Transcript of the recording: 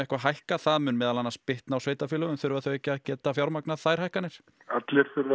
hækka það mun meðal annars bitna á sveitarfélögum þurfa þau ekki að geta fjármagnað þær hækkanir allir þurfa